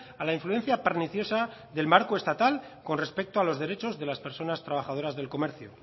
a la influencia perniciosa del marco estatal con respecto a los derechos de las personas trabajadoras del comercio